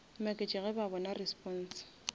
maketše ge ba bona response